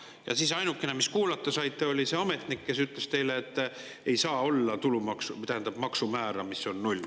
Ja siis ainukene, keda te kuulata saite, oli see ametnik, kes ütles teile, et ei saa olla maksumäära, mis on null.